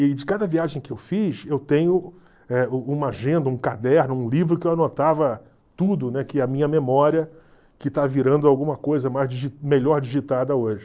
E de cada viagem que eu fiz, eu tenho eh u uma agenda, um caderno, um livro que eu anotava tudo, né, que a minha memória, que está virando alguma coisa melhor digitada hoje.